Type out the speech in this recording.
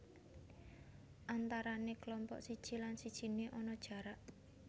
Antarané kelompok siji lan sijine ana jarak